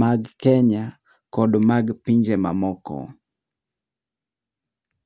mag kenya kod mag pinje ma moko.